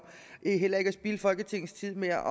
heller ikke at spilde folketingets tid med at